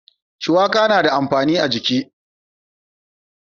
shuwaka yana da amfani a jiki.